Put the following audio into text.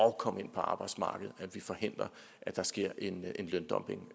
at komme ind på arbejdsmarkedet at vi forhindrer at der sker en løndumping